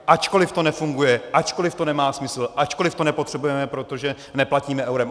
Ačkoliv to nefunguje, ačkoliv to nemá smysl, ačkoliv to nepotřebujeme, protože neplatíme eurem.